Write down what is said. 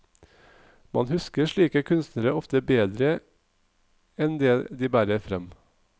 Man husker slike kunstnere ofte bedre en det de bærer frem.